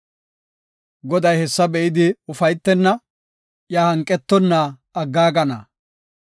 Goday hessa be7idi ufaytenna; iya hanqetonna aggaagana.